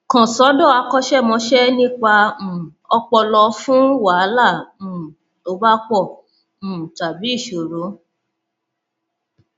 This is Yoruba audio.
kàn sọdọ akọṣẹmọṣẹ nípa um ọpọlọ fún wàhálà um tó bá pọ um tàbí ìṣòro